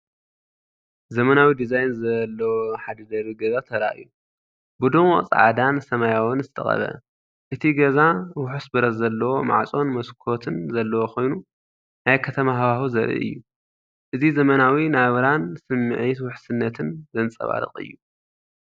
ዘመናዊ ዲዛይን ዘለዎ ሓደ ደርቢ ገዛ ተራእዩ፣ ብድሙቕ ጻዕዳን ሰማያውን ዝተቐብአ። እቲ ገዛ ውሑስ ብረት ዘለዎ ማዕጾን መስኮትን ዘለዎ ኮይኑ ናይ ከተማ ሃዋህው ዘርኢ እዩ። እዚ ዘመናዊ ናብራን ስምዒት ውሕስነትን ዘንጸባርቕ እዩ።